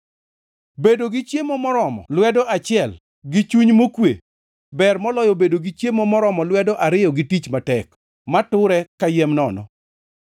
Bedo gi chiemo moromo lwedo achiel gi chuny mokwe ber moloyo bedo gi chiemo moromo lwedo ariyo gi tich matek, mature kayiem nono.